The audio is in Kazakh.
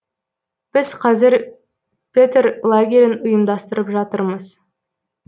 біз қазір петер лагерін ұйымдастырып жатырмыз